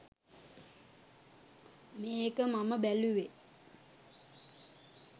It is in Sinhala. මේක මම බැලුවේ